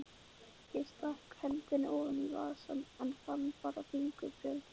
Ég stakk hendinni ofan í vasann, en fann bara fingurbjörg.